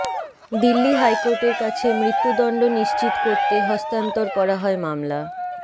দিল্লি হাইকোর্টের কাছে মৃত্যুদণ্ড নিশ্চিত করতে হস্তান্তর করা হয় মামলা